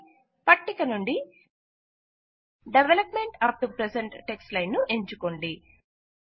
000353 000352 పట్టిక నుండి development up to present text line ను ఎంచుకోండి